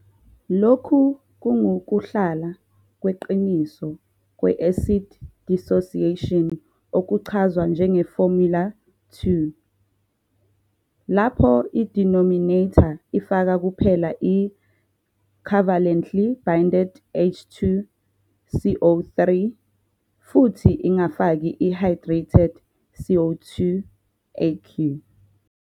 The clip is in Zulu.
Lokhu kungukuhlala "kweqiniso" kwe-acid dissociation okuchazwa njenge formula_2, lapho i-denominator ifaka kuphela i-covalently binded H 2 CO 3 futhi ingafaki i-hydrated CO 2, aq.